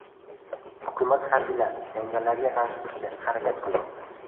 Hukumat harbiylari jangarilarga qarshi turishga harakat qilmoqda.